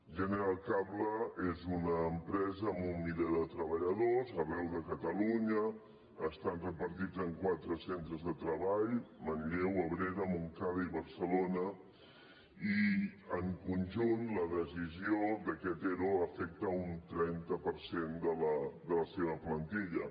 general cable és una empresa amb un miler de treballadors arreu de catalunya estan repartits en quatre centres de treball manlleu abrera montcada i barcelona i en conjunt la decisió d’aquest ero afecta un trenta per cent de la seva plantilla